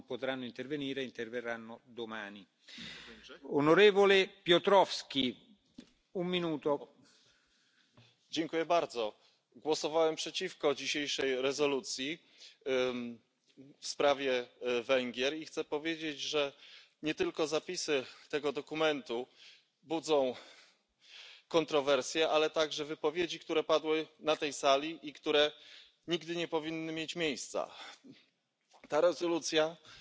Szavazatommal támogattam a Sargentini jelentés elfogadását, mert úgy ítélem meg, hogy ez pontos és kiegyensúlyozott képet ad az európai normák és a jogállamiság lebontásáról az Orbán kormány tevékenysége nyomán. A jelentésben szereplő állapotokat és jogsértéseket a magyar ellenzék, én és saját pártommal, a Magyar Szocialista Párttal rendszeresen szóvá teszi, de a kormánypárt parlamenti többségével visszaélve, a torz választási rendszerre, valamint sajtó és médiamonopóliumára támaszkodva, egyre gátlástalanabb módon korlátozza a szabadságjogokat, a szociális jogokat, tünteti el korrupciós hálójában az európai forrásokat, és uszít a kisebbségek, az idegenek, illetve az Európai Unió ellen.